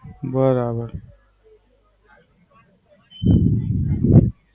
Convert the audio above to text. બરાબર.